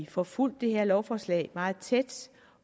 får fulgt det her lovforslag meget tæt